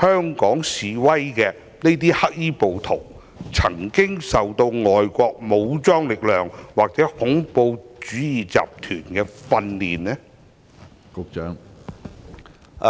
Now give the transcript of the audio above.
香港示威的黑衣暴徒曾經接受外國武裝力量或恐怖主義集團的訓練呢？